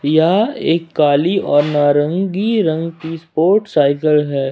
यह एक काली और नारंगी रंग की स्पोर्ट्स साइकिल है।